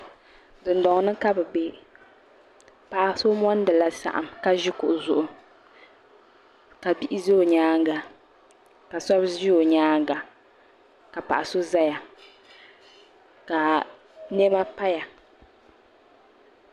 dondoni ka be bɛ paɣ' so monidila saɣim ka ʒɛ kuɣ' zuɣigu ka bihi ʒɛ o nyɛŋa ka shɛbi ʒɛ o nyɛŋa ka paɣ' so zaya ka mɛma paya